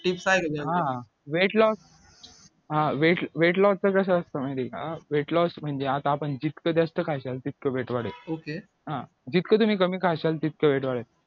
हा weight loss हा weight loss च कसं असतं माहिती का weight loss म्हणजे आता आपण जितक जास्त खायचं तितकं weight वाढेल हा जितक तुम्ही कमी खाशाल तितक weight